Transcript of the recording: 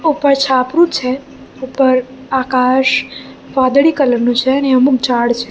ઉપર છાપરું છે ઉપર આકાશ વાદળી કલર નું છે અને અમુક ઝાડ છે.